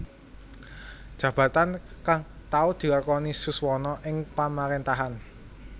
Jabatan kang tau dilakoni Suswono ing Pamaréntahan